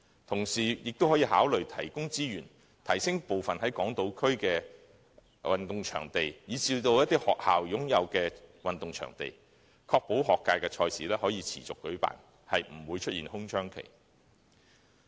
同時，政府亦可以考慮提供資源，提升港島區部分運動場地，以至一些學校擁有的運動場地，確保學界賽事可持續舉辦，不會出現空窗期。